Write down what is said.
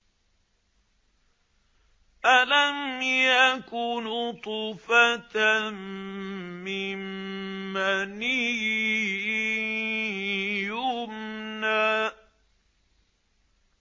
أَلَمْ يَكُ نُطْفَةً مِّن مَّنِيٍّ يُمْنَىٰ